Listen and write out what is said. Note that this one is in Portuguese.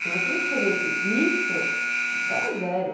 Se você escrevesse isso, a gente dava zero.